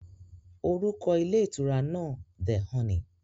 Orúkọ ilé ìtura náà "The Honey".